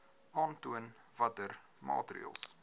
aantoon watter maatreëls